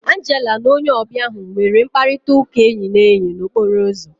Angela na onye ọbịa ahu nwere mkparịta ụka enyi na enyi na okporo ụzọ